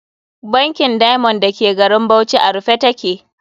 Bankin Diamond da ke garin Bauchi a rufe ta ke.